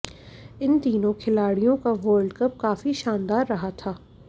इन तीनों खिलाड़ियों का वर्ल्ड कप काफी शानदार रहा था